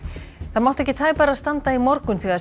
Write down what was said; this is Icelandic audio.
það mátti ekki tæpara standa í morgun þegar